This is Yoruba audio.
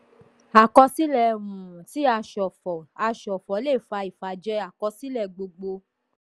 àkọsílẹ um tí a ṣòfò a ṣòfò le fà ìfàjẹ àkọsílẹ̀ gbogbo.